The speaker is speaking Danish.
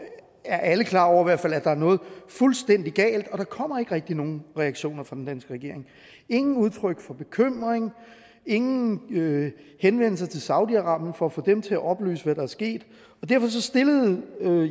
er alle klar over hvert fald er noget fuldstændig galt og der kommer ikke rigtig nogen reaktioner fra den danske regering ingen udtryk for bekymring ingen ingen henvendelser til saudi arabien for at få dem til at oplyse hvad der er sket derfor stillede